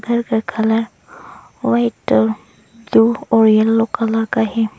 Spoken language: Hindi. घर का कलर वाइट ब्लू और येल्लो कलर का है।